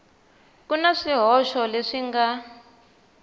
ku na swihoxo leswi nga